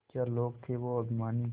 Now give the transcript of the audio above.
क्या लोग थे वो अभिमानी